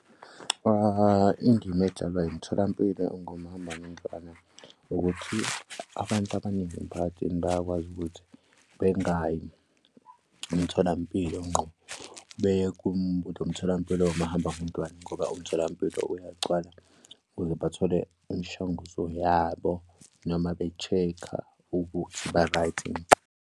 Indima edlalwa imitholampilo engomahambanendlwana ukuthi abantu abaningi emphakathini bayakwazi ukuthi bengayi emtholampilo ngqo umtholampilo ongumahambanondlwana ngoba umtholampilo uyagcwala ukuze bathole imishanguzo yabo noma be-check-a ukuthi ba-right yini.